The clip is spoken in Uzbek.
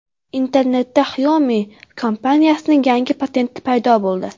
Internetda Xiaomi kompaniyasining yangi patenti paydo bo‘ldi.